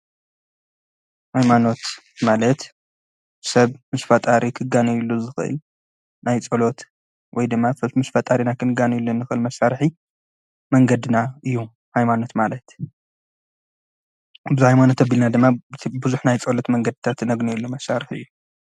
ኃይማኖት ማለት ሰብ ምስ ፋጣሪ ኽጋነዩሉ ዝኽኢል ናይ ጸሎት ወይ ድማ ምስ ፋጣሪና ኽንጋነዩሉ ንኽል መሣርሒ መንገድና እዩ ኃይማኖት ማለት ብዝይ ኣይማኖት ኣብልና ድማ ብዙኅ ናይ ጸሎት መንገድታ ትነግኑየሉ መሣርሕ እዩ።